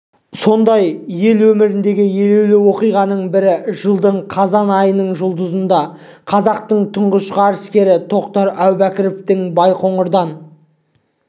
сондай ел өміріндегі елеулі оқиғаның бірі жылдың қазан айының жұлдызында қазақтың тұңғыш ғарышкері тоқтар әубәкіровтің байқоңырдан